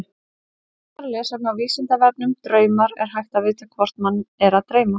Frekara lesefni á Vísindavefnum Draumar Er hægt að vita hvort mann er að dreyma?